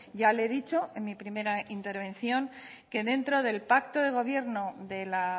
ya le he dicho en mi primera intervención que dentro del pacto de gobierno de la